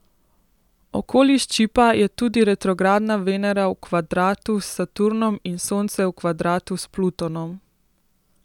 Okoli ščipa je tudi retrogradna Venera v kvadratu s Saturnom in Sonce v kvadratu s Plutonom.